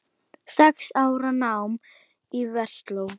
Sex ára nám í Versló.